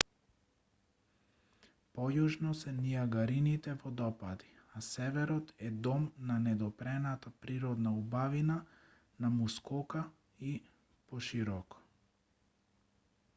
појужно се нијагарините водопади а северот е дом на недопрената природна убавина на мускока и пошироко